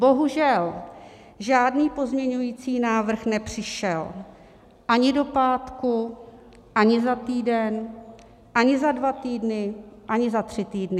Bohužel žádný pozměňovací návrh nepřišel ani do pátku, ani za týden, ani za dva týdny, ani za tři týdny.